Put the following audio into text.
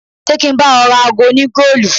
Ṣé kí n bá ọ ra ago oní-goolu.